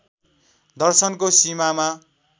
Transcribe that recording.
दर्शनको सिमामा